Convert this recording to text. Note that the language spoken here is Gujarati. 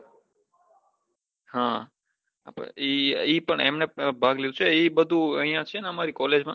હા એમને પન ભાગ લીઘો છે એ બઘુ અહિયાં છે બઘુ અમારી college માં